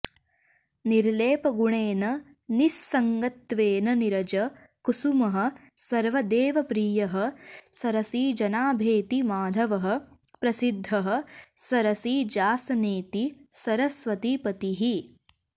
निर्लेपगुणेन निस्सङ्गत्वेन नीरज कुसुमः सर्वदेवप्रियः सरसिजनाभेति माधवः प्रसिद्धः सरसिजासनेति सरस्वतीपतिः